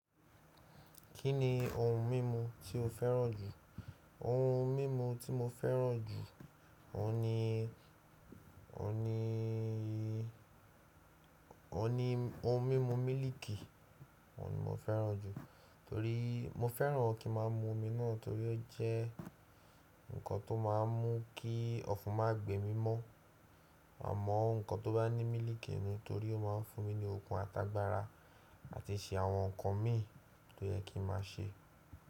Kí ni ohun mímu tí o fẹ́ràn jù? Ohun mímu tí mo fẹ́ràn jù, ọ̀hun ni ohun ni ọ̀nì ohun mímu mílìkì. Ọ̀nì mo fẹ́ràn jù torí mo fẹ́ràn kí máa mú omi náà torí ó jẹ́ nǹkan tó máa ń mú kí ọfun má gbe mi mọ́. Amọ nǹkan tó bá ní mílìkì ni torí ó máa ń fún mi ní okun àtàgbàra àti ṣe àwọn nǹkan mi tó yẹ kí màá ṣe.